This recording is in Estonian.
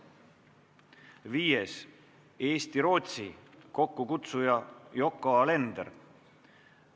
Viiendaks, Eesti-Rootsi, kokkukutsuja on Yoko Alender.